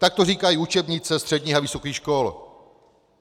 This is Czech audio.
Tak to říkají učebnice středních a vysokých škol.